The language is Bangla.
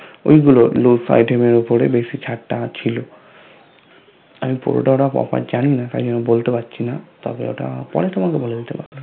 ঐগুলো Luj Item এর উপরে বেশি ছাড়টা ছিল আমি পুরোটা Offer জানিনা তাইজন্য বলতে পারছিনা তবে ওটা পরে তোমাকে বলে দিতে পারবো